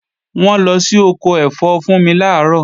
Wọ́n lọ sí ọkọ ẹ̀fọ́ Fúnmi làárọ̀